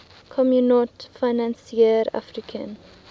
communaute financiere africaine